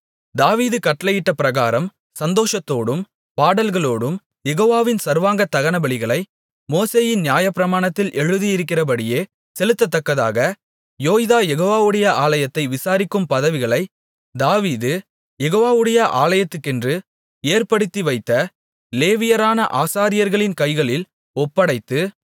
தாவீது கட்டளையிட்டபிரகாரம் சந்தோஷத்தோடும் பாடல்களோடும் யெகோவாவின் சர்வாங்க தகனபலிகளை மோசேயின் நியாயப்பிரமாணத்தில் எழுதியிருக்கிறபடியே செலுத்தத்தக்கதாக யோய்தா யெகோவாவுடைய ஆலயத்தை விசாரிக்கும் பதவிகளை தாவீது யெகோவாவுடைய ஆலயத்துக்கென்று ஏற்படுத்திவைத்த லேவியரான ஆசாரியர்களின் கைகளில் ஒப்படைத்து